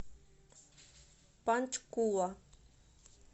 панчкула